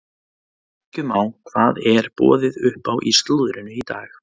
Kíkjum á hvað er boðið upp á í slúðrinu í dag.